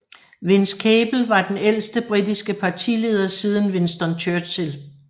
Vince Cable var den ældste britiske partileder siden Winston Churchill